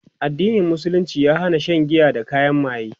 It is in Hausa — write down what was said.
addinin musulunci ya Hana Shan giya da kayan maye